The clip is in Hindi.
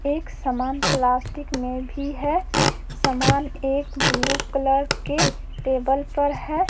एक समान प्लास्टिक में भी है। समान एक ब्लू कलर के टेबल पर है।